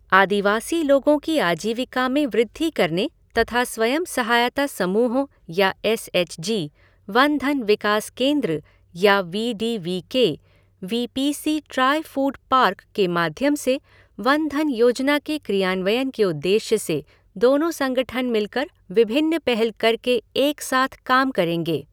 आदिवासी लोगों की आजीविका में वृद्धि करने तथा स्वयं सहायता समूहों या एस एच जी, वन धन विकास केंद्र या V D V K, V P C Trifood park के माध्यम से वन धन योजना के क्रियान्वयन के उद्देश्य से दोनों संगठन मिलकर विभिन्न पहल करके एक साथ काम करेंगे।